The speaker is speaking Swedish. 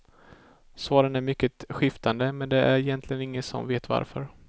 Svaren är mycket skiftande, men det är egentligen ingen som vet varför.